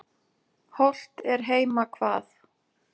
Hollt er heima hvað.